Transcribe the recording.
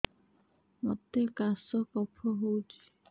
ମୋତେ କାଶ କଫ ହଉଚି